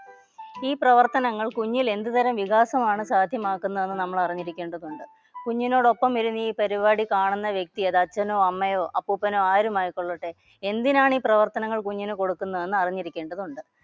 ഈ പ്രവർത്തനങ്ങൾ കുഞ്ഞിൽ എന്ത് തരം വികാസമാണ് സാധ്യമാക്കുന്നതെന്ന് നമ്മൾ അറിഞ്ഞിരിക്കേണ്ടതുണ്ട്. കുഞ്ഞിനോടൊപ്പം ഇരുന്ന് ഈ പരിപാടി കാണുന്ന വ്യക്തി അത് അച്ഛനോ അമ്മയോ അപ്പൂപ്പനോ ആരുമായിക്കൊള്ളട്ടെ. എന്തിനാണീ പ്രവർത്തനങ്ങൾ കുഞ്ഞിന് കൊടുക്കുന്നതെന്ന് അറിഞ്ഞിരിക്കേണ്ടതുണ്ട്